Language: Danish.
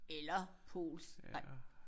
Eller polsk nej